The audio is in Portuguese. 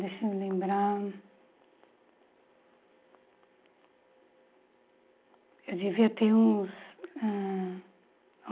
Deixa eu me lembrar... Eu devia ter uns ãh